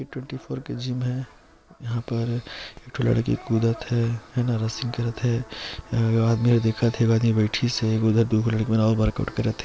ए twenty four के gym { हैं यहाँ पर एक ठो लड़की कुदत हे हैं न रस्सी करत हे एजग आदमी दिखत हे एग बैथिसे और ओजग दु झन लड़की मन करत हे। }